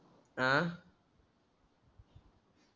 आह